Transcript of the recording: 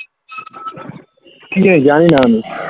কি যে জানি না আমি